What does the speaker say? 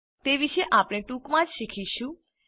તે વિશે આપણે ટૂંકમાં જ શીખીશું